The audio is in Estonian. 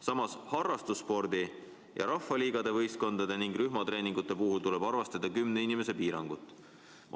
Samas harrastusspordi ja rahvaliigade võistkondade ning rühmatreeningute puhul tuleb arvestada 10 inimese piirangut.